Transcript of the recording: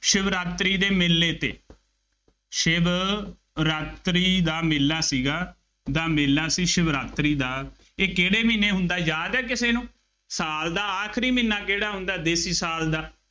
ਸ਼ਿਵਰਾਤਰੀ ਦੇ ਮੇਲੇ ਤੇ, ਸ਼ਿਵਰਾਤਰੀ ਦਾ ਮੇਲਾ ਸੀਗਾ, ਦਾ ਮੇਲਾ ਸ਼ਿਵਰਾਤਰੀ ਦਾ, ਇਹ ਕਿਹੜੇ ਮਹੀਨੇ ਹੁੰਦਾ, ਯਾਦ ਹੈ ਕਿਸੇ ਨੂੰ, ਸਾਲ ਦਾ ਆਖਰੀ ਮਹੀਨਾ ਕਿਹੜਾ ਹੁੰਦਾ, ਦੇਸੀ ਸਾਲ ਦਾ,